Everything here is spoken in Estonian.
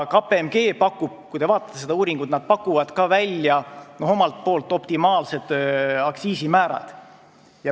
Kui te vaatate seda uuringut, siis te näete, et KPMG pakub omalt poolt optimaalsed aktsiisimäärad.